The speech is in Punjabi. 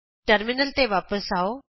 ਟਰਮਿਨਲ ਤੇ ਵਾਪਸ ਆਉ